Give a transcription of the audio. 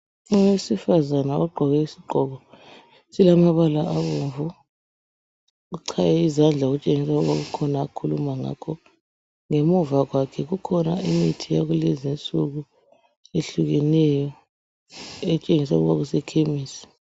Owesifazana ogqoke isigqoko esilamabala abomvu uchaye izandla okutshengisa ukuba kukhona akhuluma ngakho ngemuva kwakhe kukhona imithi yakulezi insuku ehlukeneyo etshengisa ukuba kuse khemesi.